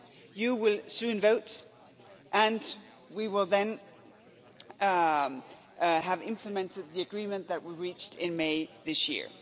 You will soon vote and we will then have implemented the agreement that we reached in May this